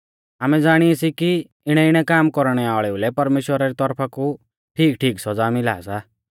आमै ज़ाणी सी कि इणैइणै काम कौरणै वाल़ेउ लै परमेश्‍वरा री तौरफा कु ठीकठीक सौज़ा मिला सा